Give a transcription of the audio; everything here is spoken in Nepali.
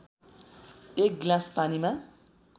१ गिलास पानीमा